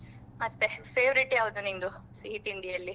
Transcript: ಮತ್ತೆ favourite ಯಾವ್ದು ನಿನ್ದು ಸಿಹಿ ತಿಂಡಿಯಲ್ಲಿ?